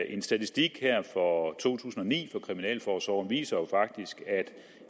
en statistik for to tusind og ni fra kriminalforsorgen viser jo faktisk at